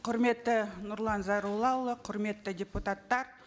құрметті нұрлан зайроллаұлы құрметті депутаттар